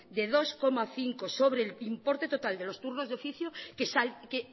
de dos coma cinco sobre el pib importe total de los turnos de oficio que